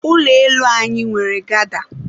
ụlọ elu anyị nwere gada.